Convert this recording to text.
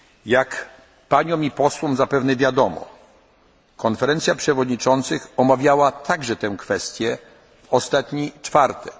poważnie. Jak wszystkim posłom zapewnie wiadomo, Konferencja Przewodniczących omawiała także tę kwestię w ostatni